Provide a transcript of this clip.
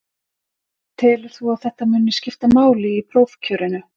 Telur þú að þetta muni skipta máli í prófkjörinu?